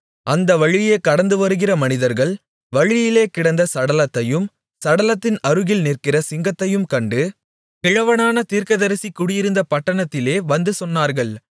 அந்த வழியே கடந்துவருகிற மனிதர்கள் வழியிலே கிடந்த சடலத்தையும் சடலத்தின் அருகில் நிற்கிற சிங்கத்தையும் கண்டு கிழவனான தீர்க்கதரிசி குடியிருந்த பட்டணத்திலே வந்து சொன்னார்கள்